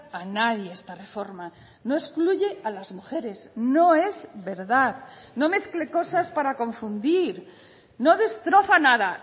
a nadie esta reforma no excluye a las mujeres no es verdad no mezcle cosas para confundir no destroza nada